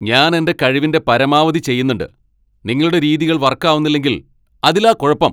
ഞാൻ എന്റെ കഴിവിന്റെ പരമാവധി ചെയ്യുന്നുണ്ട്, നിങ്ങളുടെ രീതികൾ വർക്ക് ആവുന്നില്ലെങ്കിൽ അതിലാ കുഴപ്പം.